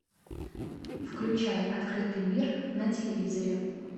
включай открытый мир на телевизоре